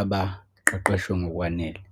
abaqeqeshwe ngokwanele.